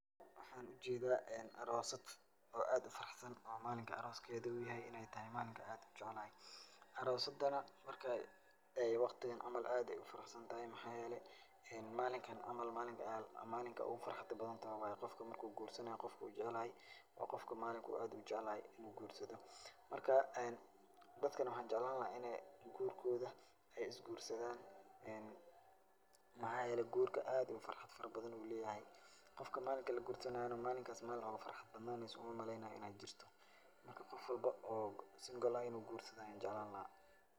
Waxaan u jeedaa aroosad oo aad u faraxsan oo maalinka arooskeeda uu yahay in ay tahay maalinkan aad u jeclahay. Aroosadana marka ay wakhtigan cama aad ayaay u farxsantahay, maxaa yeelay maalinkan camal maalinka maalinka ugu farxada badantahay waay. Qofka marka uu guursanaayo qofku wuu jacayl yahay. Waa qofku maalinku aad u jacayl yahay in uu guursado. Marka, dadkana waxaan jeclaan lahaa in ay guurkooda ay is guursadaan. Maxaay yeelay guurka aad ayuu farxad farabadan uu leeyahay. Qofka maalinka la guursanaayana maalinkaas maalin ugu farxad badnaaneyso uma maleynaayo in ay jirto. Marka, qof walbo oo single ah in uu guursado ayaan jeclaan lahaa.